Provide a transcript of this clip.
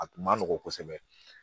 A kun ma nɔgɔn kosɛbɛ